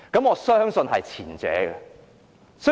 我相信會是前者。